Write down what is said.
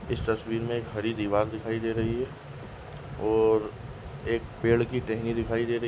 इस तस्वीर में एक हरी दीवार दिखाई दे रही है और एक पेड़ की टेहनी दिखाई दे रही --